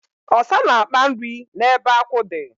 Ọsa na-akpa nri n'ebe akwụ dị.